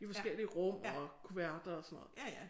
I forskellige rum og kuverter og sådan noget